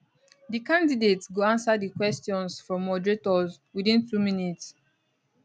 di candidates go answer di questions from moderators witin two minutes